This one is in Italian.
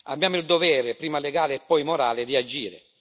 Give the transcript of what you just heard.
Abbiamo il dovere, prima legale e poi morale, di agire.